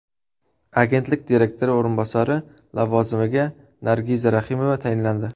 Agentlik direktori o‘rinbosari lavozimiga Nargiza Raximova tayinlandi.